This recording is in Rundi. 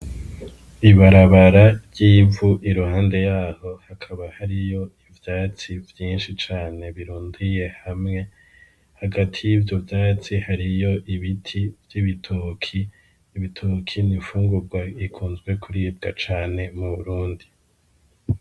Ibarabara ry'ivu iruhande yaho hakaba hariyo ivyatsi vyinshi cane birundiye hamwe hagati y'ivyo vyatsi hariyo ibiti vy'ibituki ibituki ni fungurwa ikunzwe kuribwa cane mu burundi.